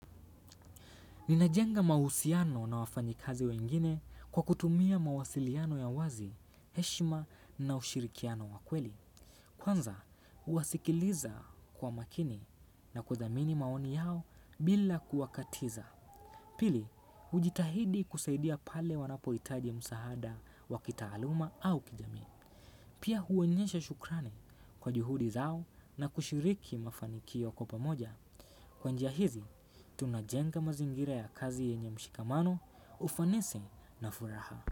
Ninajenga mahusiano na wafayakazi wengine kwa kutumia mawasiliano ya wazi, heshima na ushirikiano wa kweli. Kwanza, huwasikiliza kwa makini na kuthamini maoni yao bila kuwakatiza. Pili, hujitahidi kusaidia pale wanapohitaji msaada wa kitaaluma au kijamii. Pia huonyesha shukrani kwa juhudi zao na kushiriki mafanikio kwa pamoja. Kwa njia hizi, tunajenga mazingira ya kazi yenye mshikamano, ufanisi na furaha.